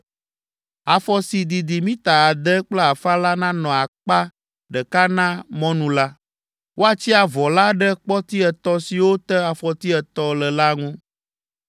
Avɔ si didi mita ade kple afã la nanɔ akpa ɖeka na mɔnu la. Woatsi avɔ la ɖe kpɔti etɔ̃ siwo te afɔti etɔ̃ le la ŋu.